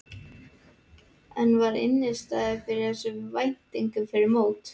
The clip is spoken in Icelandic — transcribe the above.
En var innistæða fyrir þessum væntingum fyrir mót?